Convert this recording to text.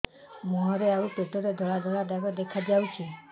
ମୁହଁରେ ଆଉ ପେଟରେ ଧଳା ଧଳା ଦାଗ ଦେଖାଯାଉଛି